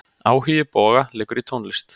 Áhugi Boga liggur í tónlist.